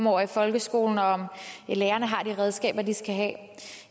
over i folkeskolen og om lærerne har de redskaber de skal have